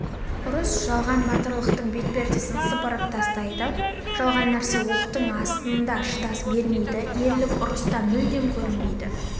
ұрыс жалған батырлықтың бетпердесін сыпырып тастайды жалған нәрсе оқтың астында шыдас бермейді ерлік ұрыста мүлдем көрінбейді